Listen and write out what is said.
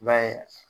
I b'a ye